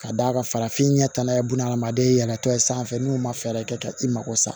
Ka d'a kan farafin ɲɛ tanna ye bunahadamaden yɛlɛtɔ ye sanfɛ n'u ma fɛɛrɛ kɛ ka i mako sa